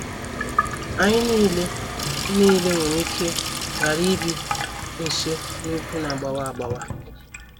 Anyị nile nile nwere ike ghara ibi nso n’ugwu na - agbawa agbawa.